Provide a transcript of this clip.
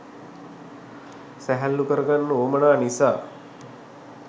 සැහැල්ලු කරගන්න උවමනා නිසා.